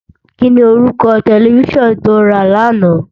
Kini órúkò tèlèfisán tó rá làná?